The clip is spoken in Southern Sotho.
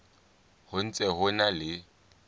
ho ntse ho na le